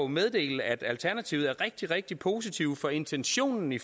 meddele at alternativet er rigtig rigtig positive over for intentionen i